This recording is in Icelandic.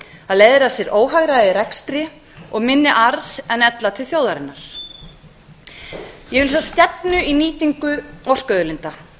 það leiðir af sér óhagræði í rekstri og minni arð en ella til þjóðarinnar ég vil sjá stefnu í nýtingu orkuauðlinda